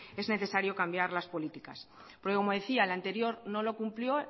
es necesario cambiar las políticas porque como decía el anterior no lo cumplió